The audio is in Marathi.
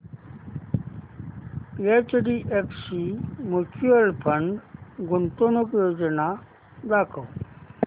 एचडीएफसी म्यूचुअल फंड गुंतवणूक योजना दाखव